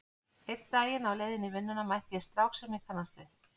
Einn daginn á leið í vinnuna mætti ég strák sem ég kannaðist við.